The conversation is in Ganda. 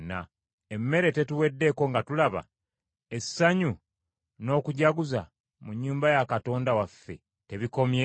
Emmere tetuweddeeko nga tulaba? Essanyu n’okujaguza mu nnyumba ya Katonda waffe tebikomye?